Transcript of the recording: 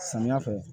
Samiya fɛ